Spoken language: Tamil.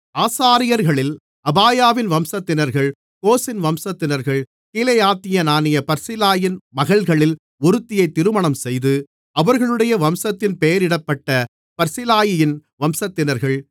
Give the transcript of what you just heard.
ஆசாரியர்களில் அபாயாவின் வம்சத்தினர்கள் கோசின் வம்சத்தினர்கள் கீலேயாத்தியனான பர்சிலாயின் மகள்களில் ஒருத்தியை திருமணம்செய்து அவர்களுடைய வம்சத்தின் பெயரிடப்பட்ட பர்சிலாயியின் வம்சத்தினர்கள்